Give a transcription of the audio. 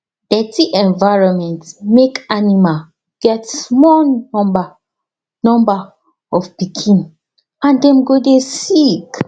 dirty environment make animal get small number number of pikin and dem go dey sick